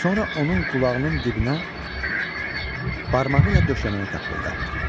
Sonra onun qulağının dibinə barmağı ilə döşəməni taqqıldatdı.